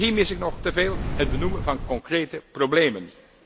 Ook hier mis ik nog teveel het benoemen van concrete problemen.